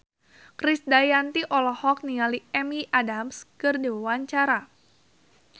Krisdayanti olohok ningali Amy Adams keur diwawancara